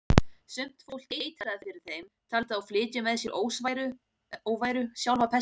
Sumt fólk eitraði fyrir þeim, taldi þá flytja með sér óværu, sjálfa pestina.